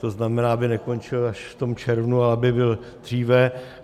To znamená, aby nekončil až v tom červnu, aby byl dříve.